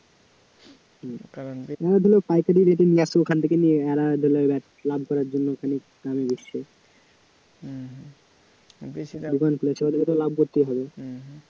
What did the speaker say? পাইকারি rate এ নিয়ে আসল ওখান থেকে লাভ করার জন্য খানিক হম হম দোকান খুলেছে বলে তো লাভ করতেই হবে